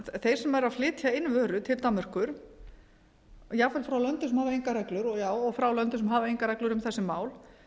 þeir sem eru að flytja inn vörur til danmerkur jafnvel frá löndum sem hafa engar reglur og frá löndum sem hafa engar reglur um þessi mál